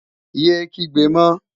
Yé é kígbe mọ!